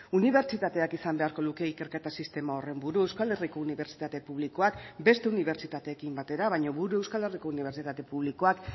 unibertsitateak izan beharko luke ikerketa sistema horren buru euskal herriko unibertsitate publikoak beste unibertsitateekin batera baina gure euskal herriko unibertsitate publikoak